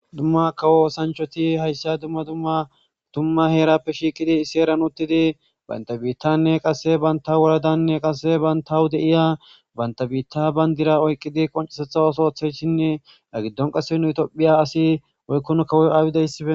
Dumma kawo sanchoti hayssa dumma dumma dumma heerappe shiiqidi issi eran uttidi bantabiittanne qase banta woladanne qase bantawu deiya bantabiitta bayndira oyqqidi qoncesetha osothe shinne agiddon qasenu itphiya asi oykkun kawoy aawidessiben